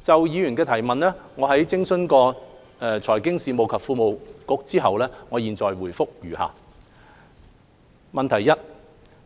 就議員的質詢，在諮詢財經事務及庫務局後，我謹答覆如下：一